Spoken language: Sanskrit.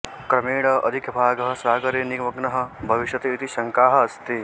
क्रमेण अधिकभागः सागरे निमग्नः भविष्यति इति शङ्का अस्ति